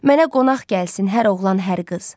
Mənə qonaq gəlsin hər oğlan, hər qız.